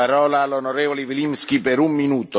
Herr Präsident, meine sehr geehrten Damen und Herren!